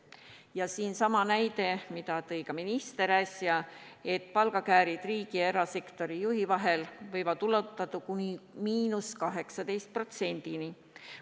Toon siin sama näite, mille tõi äsja ka minister: palgakäärid riigi ja erasektori juhi vahel võivad ulatuda kuni 18%-ni.